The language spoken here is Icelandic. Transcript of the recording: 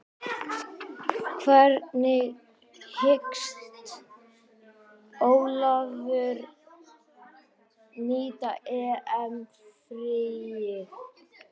Hvernig hyggst Ólafur nýta EM fríið?